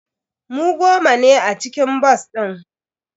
Mu goma ne a cikin bas din.